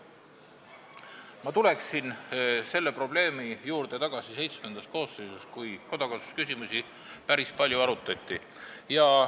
Ma lähen selle probleemiga tagasi VII koosseisu, kui kodakondsusküsimusi päris palju arutati.